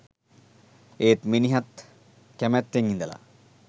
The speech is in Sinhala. ඒත් මිනිහත් කැමැත්තෙන් ඉඳලා